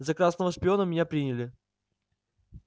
за красного шпиона меня приняли